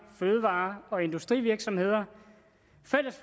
fødevare og industrivirksomheder